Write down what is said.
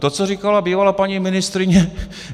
To, co říkala bývalá paní ministryně.